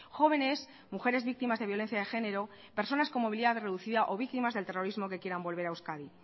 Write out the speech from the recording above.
jóvenes mujeres víctimas de violencia de género personas con movilidad reducida o víctimas del terrorismo que quieran volver a euskadi